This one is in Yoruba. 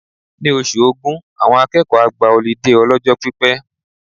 Ní oṣù Ògún, àwọn akẹ́kọ̀ọ́ á gba ọlídé ọlọ́jọ́ pípẹ́.